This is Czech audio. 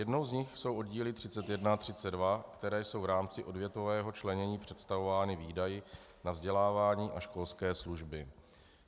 Jednou z nich jsou oddíly 31 a 32, které jsou v rámci odvětvového členění představovány výdaji na vzdělávání a školské služby.